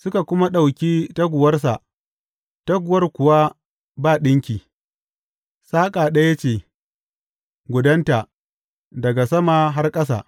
Suka kuma ɗauki taguwarsa, taguwar kuwa ba ɗinki, saƙa ɗaya ce gudanta daga sama har ƙasa.